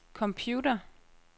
computer